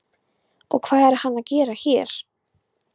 Og hvað er hann að gera hér?